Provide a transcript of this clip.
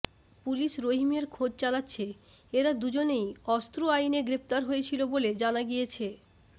police রহিমের খোঁজ চালাচ্ছে এরা দুজনেই অস্ত্র আইনে গ্রেফতার হয়েছিল বলে জানা গিয়েছে